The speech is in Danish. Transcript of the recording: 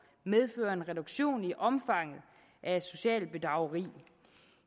medføre en reduktion i omfanget af socialt bedrageri